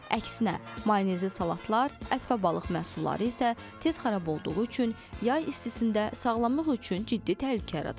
Əksinə, mayonezli salatlar, ət və balıq məhsulları isə tez xarab olduğu üçün yay istisində sağlamlıq üçün ciddi təhlükə yarada bilər.